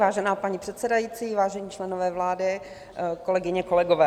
Vážená paní předsedající, vážení členové vlády, kolegyně, kolegové.